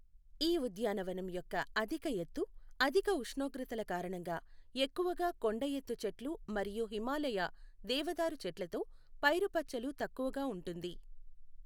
ఈ ఉద్యానవనం యొక్క అధిక ఎత్తు, అధిక ఉష్ణోగ్రతల కారణంగా ఎక్కువగా కొండఎత్తు చెట్లు మరియు హిమాలయా దేవదారు చెట్లతో పైరుపచ్చలు తక్కువగా ఉంటుంది.